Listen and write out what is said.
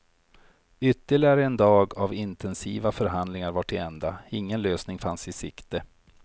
Ytterligare en dag av intensiva förhandlingar var till ända, ingen lösning fanns i sikte.